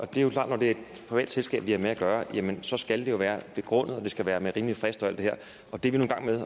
det er jo klart at når det er et privat selskab vi har med at gøre så skal det være begrundet og det skal være med rimelig frist og alt det her og det er vi nu i gang med